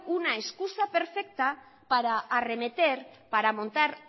una excusa perfecta para arremeter para montar